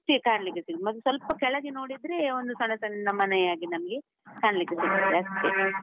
ಅಷ್ಟೆ ಕಾಣ್ಲಿಕ್ಕೆ ಸಿಗುದು, ಮತ್ತೆ ಸ್ವಲ್ಪ ಕೆಳಗೆ ನೋಡಿದ್ರೆ, ಒಂದು ಸಣ್ಣ ಸಣ್ಣ ಮನೆಯ ಹಾಗೆ ನಮ್ಗೆ ಕಾಣ್ಲಿಕ್ಕೆ ಸಿಗ್ತದೆ ಅಷ್ಟೆ .